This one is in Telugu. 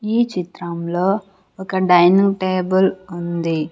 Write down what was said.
ఈ చిత్రంలో ఒక డైనింగ్ టేబుల్ ఉంది.